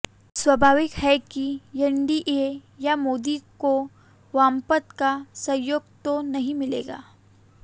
स्वाभाविक है कि एनडीए या मोदी को वामपंथ का सहयोग तो नहीं मिलेगा